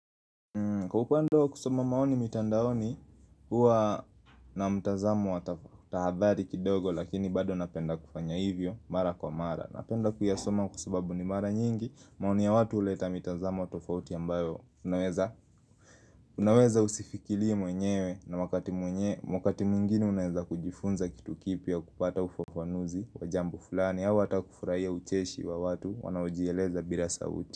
Kwa upande kusoma maoni mitandaoni huwa na mtazamo wa tathari kidogo lakini bado napenda kufanya hivyo mara kwa mara Napenda kuyasoma kwa sababu ni mara nyingi maoni ya watu huleta mtazamo tofauti ambayo unaweza usifikirie mwenyewe na wakati mwenye wakati mwingini unaweza kujifunza kitu kipya kupata ufafanuzi wa jambo fulani au hata kufurahia ucheshi wa watu wanaojieleza bila sauti.